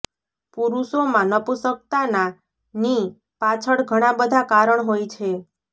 પરુષોમાં નપુંસક્તાના ની પાછળ ઘણા બધા કારણ હોય છે